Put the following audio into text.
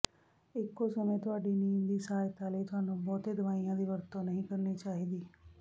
ਇਕੋ ਸਮੇਂ ਤੁਹਾਡੀ ਨੀਂਦ ਦੀ ਸਹਾਇਤਾ ਲਈ ਤੁਹਾਨੂੰ ਬਹੁਤੇ ਦਵਾਈਆਂ ਦੀ ਵਰਤੋਂ ਨਹੀਂ ਕਰਨੀ ਚਾਹੀਦੀ